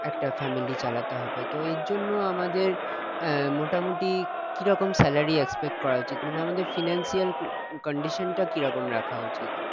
একটা family চালাতে হবে তো এইজন্য আমাদের আহ মোটামুটি কিরকম salary expect করা উচিত মানে আমাদের financial condition টা কিরকম রাখা উচিত